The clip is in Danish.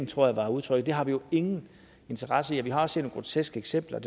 tror jeg var udtrykket har vi jo ingen interesse i vi har set nogle groteske eksempler